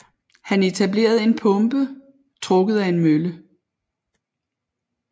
Han etablerede en pumpe trukket af en mølle